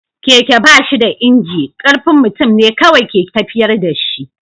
Keke ba shi da inji, ƙarfin mutum ne kawai ke tafiyar da shi.